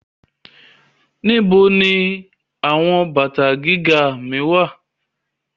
Where are my high heels